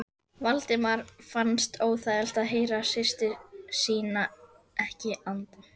Valdimari fannst óþægilegt að heyra systur sína ekki anda.